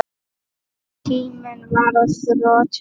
En tíminn var á þrotum.